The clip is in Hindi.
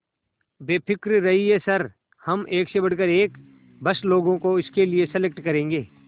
बेफिक्र रहिए सर हम एक से बढ़कर एक बस लोगों को इसके लिए सेलेक्ट करेंगे